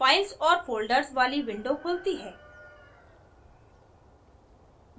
files और folders वाली window खुलती है